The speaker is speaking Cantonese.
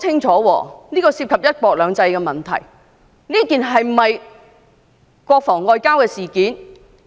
這些涉及"一國兩制"的問題，當局必須交代清楚。